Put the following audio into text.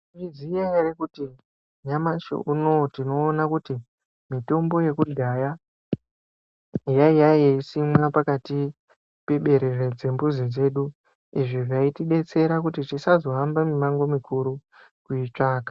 Mwaiziya ere kuti nyamashi unowu tinoona kuti mitombo yekudhaya yaiya yeisimwa pakati peberere dzembuzi dzedu izvi zvaitidetsera kuti tisazo hamba mimango mikuru kuitsvaka.